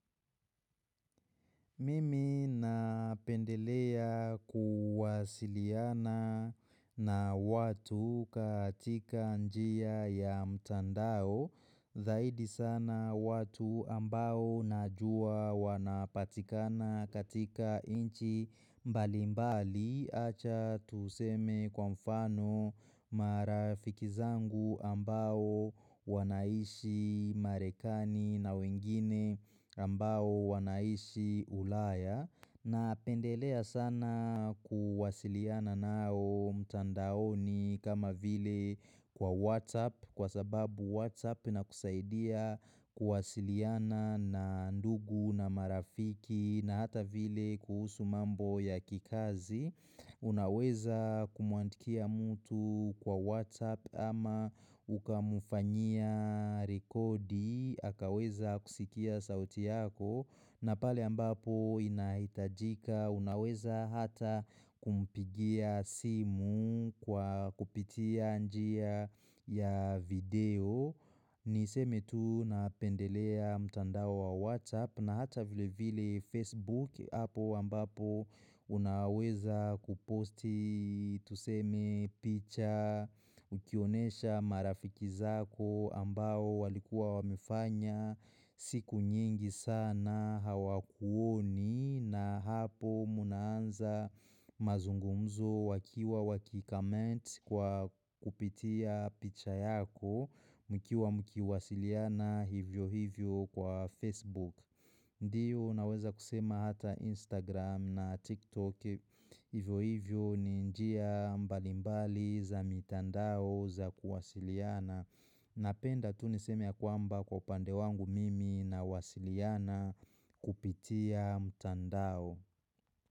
Mimi napendelea kuwasiliana na watu katika njia ya mtandao. Zaidi sana watu ambao najua wanapatikana katika nchi mbalimbali acha tuseme kwa mfano marafiki zangu ambao wanaishi marekani na wengine ambao wanaishi ulaya Napendelea sana kuwasiliana nao mtandaoni kama vile kwa WhatsApp kwa sababu WhatsApp inakusaidia kuwasiliana na ndugu na marafiki na hata vile kuhusu mambo ya kikazi Unaweza kumuandikia mtu kwa WhatsApp ama ukamfanyia rekodi akaweza kusikia sauti yako na pale ambapo inahitajika unaweza hata kumpigia simu kwa kupitia njia ya video Niseme tu napendelea mtandao wa WhatsApp na hata vile vile Facebook hapo ambapo Unaweza kuposti tuseme picha Ukionyesha marafiki zako ambao walikuwa wamefanya siku nyingi sana hawakuoni na hapo mnaanza mazungumzo wakiwa wakicomment kwa kupitia picha yako mkiwa mkiwasiliana hivyo hivyo kwa Facebook Ndio naweza kusema hata Instagram na TikTok hivyo hivyo ni njia mbalimbali za mitandao za kuwasiliana. Napenda tu niseme ya kwamba kwa upande wangu mimi nawasiliana kupitia mtandao.